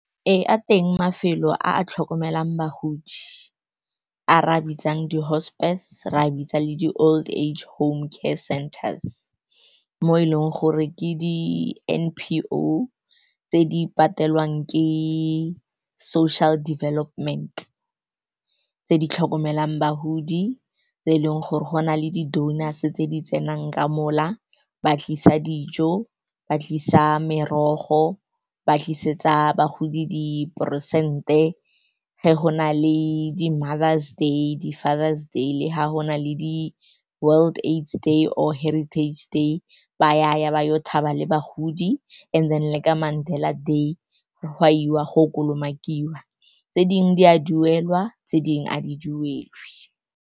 Ee, a teng mafelo a a tlhokomelang bagodi, a re a bitsang di-hospice, re a bitsa le di-old age home care centers, mo e leng gore ke di N_P_O tse di patelwang ke Social Development tse di tlhokomelang bagodi. Tse eleng gore go na le di-donors tse di tsenang ka mo la ba tlisa dijo, ba tlisa merogo, ba tlisetsa bagodi diperesente. Fa go na le di-Mother's Day le di-Father's Day, le fa go sena di-World AIDS Day or Heritage Day, baya ba ya thaba le bagodi, and then le ka Mandela Day go a iwa, go kolomakiwa tse dingwe, di a duelwa tse dingwe a di duelwa.